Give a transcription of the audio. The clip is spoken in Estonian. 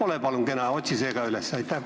Ole palun kena ja otsi see koht ka üles.